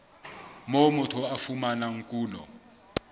moo motho a fumanang kuno